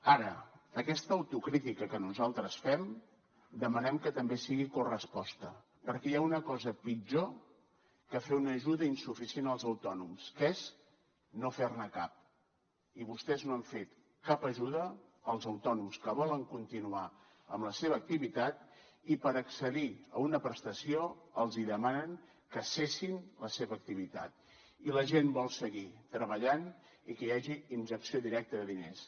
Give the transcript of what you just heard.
ara aquesta autocrítica que nosaltres fem demanem que també sigui corresposta perquè hi ha una cosa pitjor que fer una ajuda insuficient als autònoms que és no fer ne cap i vostès no han fet cap ajuda als autònoms que volen continuar amb la seva activitat i per accedir a una prestació els demanen que cessin la seva activitat i la gent vol seguir treballant i que hi hagi injecció directa de diners